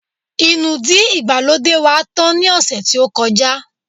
Inúdí ìgbàlódé wá tán ni ose tí ó kọjá